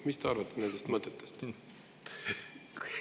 Mis te arvate nendest mõtetest?